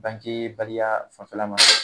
Banke baliya fan fɛ la ma,